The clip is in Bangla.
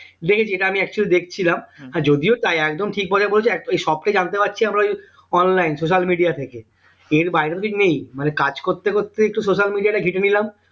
দেখেছি এটা আমি actually দেখছিলাম আর যদিও তাই একদম ঠিক বলে এই সবটাই জানতে পারছি আমরা ওই online social media থেকে এর বাইরে তো কিছু নেই মানে কাজ করতে করতে একটু social media টা ঘেটে নিলাম